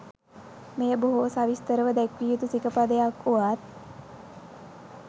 මෙය බොහෝ සවිස්තරව දැක්විය යුතු සිකපදයක් වුවත්